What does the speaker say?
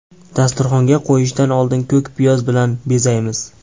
Dasturxonga qo‘yishdan oldin ko‘k piyoz bilan bezaymiz.